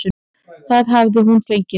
Það hafi hún nú fengið.